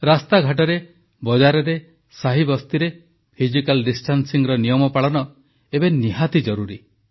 ରାସ୍ତାଘାଟରେ ବଜାରରେ ସାହିବସ୍ତିରେ ସାମାଜିକ ଦୂରତାର ନିୟମ ପାଳନ ଏବେ ନିହାତି ଜରୁରି